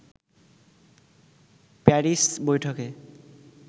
Paris বৈঠকে